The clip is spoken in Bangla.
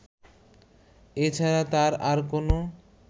এ ছাড়া তার আর কোন